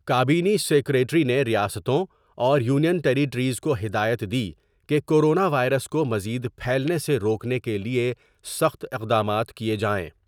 کا بینی سیکریٹری نے ریاستوں اور یونین ٹیریٹریز کو ہدایت دی کہ کورونا وائرس کو مزید پھیلنے سے روکنے کیلئے سخت اقدامات کئے جائیں ۔